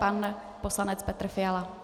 Pan poslanec Petr Fiala.